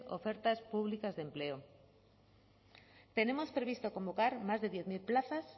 ofertas públicas de empleo tenemos previsto convocar más de diez mil plazas